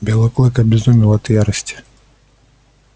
белый клык обезумел от ярости